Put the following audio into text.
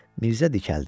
Mirzə dikəldi.